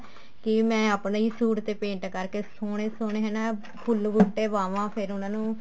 ਕੀ ਮੈਂ ਆਪਣੇ ਹੀ ਸੂਟ ਤੇ paint ਕਰਕੇ ਸੋਹਣੇ ਸੋਹਣੇ ਹਨਾ ਫੁੱਲ ਬੁੱਟੇ ਪਾਵਾਂ ਫ਼ੇਰ ਉਹਨਾ ਨੂੰ